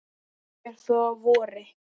fer þó að vori.